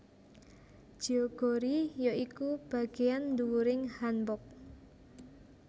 Jeogori ya iku bageyan ndhuwuring hanbok